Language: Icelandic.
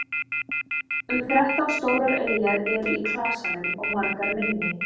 um þrettán stórar eyjar eru í klasanum og margar minni